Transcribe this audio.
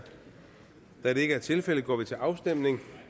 da det ikke er tilfældet går vi til afstemning